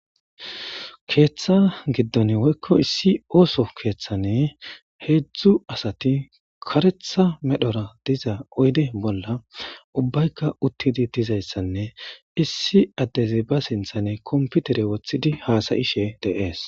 Keetha gidon woyko issi ooso kethani hezdzdu asati karetha medhora diza oyde bolla ubbayka utidi dizaysanne issi adezi be sinthani computere wothidi hasa'ishe de'esi.